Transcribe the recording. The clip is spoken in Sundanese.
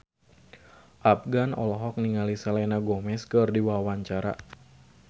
Afgan olohok ningali Selena Gomez keur diwawancara